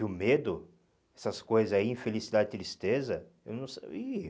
E o medo, essas coisas aí, infelicidade, tristeza, eu não ih